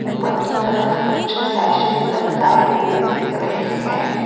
ऊपर की तरफ कुछ सैसेज लटकाए हुए दिख रहे हैं।